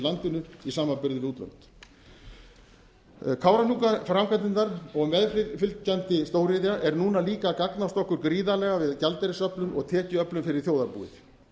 landinu í samanburði við útlönd kárahnjúkaframkvæmdirnar og meðfylgjandi stóriðja er líka núna að gagnast okkur gríðarlega við gjaldeyrisöflun og tekjuöflun fyrir þjóðarbúið